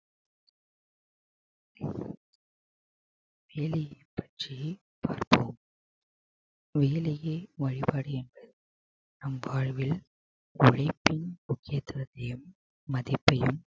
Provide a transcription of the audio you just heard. வேலையை பற்றி பார்ப்போம் வேலையே வழிபாடு என்பர் நம் வாழ்வில் உழைப்பின் முக்கியத்துவத்தையும் மதிப்பையும்